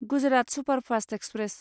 Gujarat superfast express